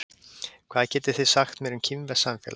Hvað getið þið sagt mér um kínverskt samfélag?